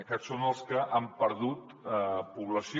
aquests són els que han perdut població